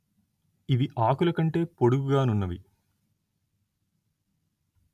ఇవి ఆకుల కంటే పొడుగుగా నున్నవి